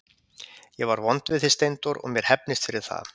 Ég var vond við þig Steindór og mér hefnist fyrir það.